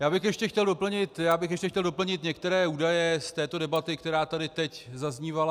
Já bych ještě chtěl doplnit některé údaje z této debaty, která tady teď zaznívala.